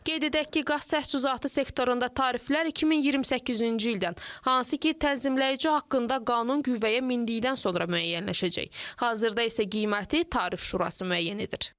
Qeyd edək ki, qaz təchizatı sektorunda tariflər 2028-ci ildən, hansı ki, tənzimləyici haqqında qanun qüvvəyə mindikdən sonra müəyyənləşəcək, hazırda isə qiyməti tarif şurası müəyyən edir.